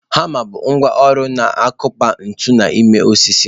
Hama bụ ngwá ọrụ na-akụpa ntu n'ime osisi.